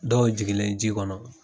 Dɔw jigilen ji kɔnɔ